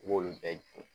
I b'olu bɛɛ dun